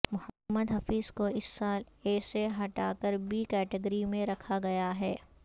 محمد حفیظ کو اس سال اے سے ہٹا کر بی کیٹیگری میں رکھا گیا ہے